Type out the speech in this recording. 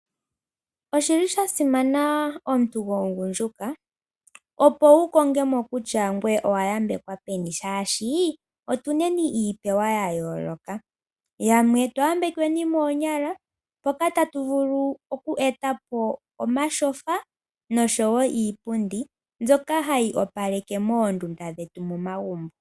Osha simana omuntu gomugundjuka opo wukonge mo kutya ngoye owayambekwa peni shaashi otuneni iipewa yayooloka, yamwe otwayambekweni moonyala mpoka tatu vulu oku etapo omatyofa noshowo iipundi mbyoka hayi opaleke moondunda dhetu momagumbo.